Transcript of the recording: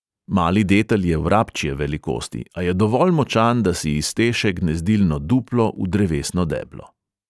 Mali detel je vrabčje velikosti, a je dovolj močan, da si izteše gnezdilno duplo v drevesno deblo.